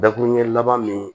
Dakuruɲɛ laban min